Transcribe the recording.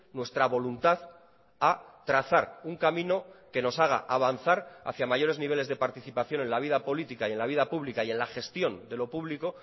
nuestra voluntad a trazar un camino que nos haga avanzar hacia mayores niveles de participación en la vida política y en la vida pública y en la gestión de lo público